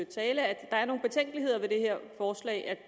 tale at der er nogle betænkeligheder ved det her forslag at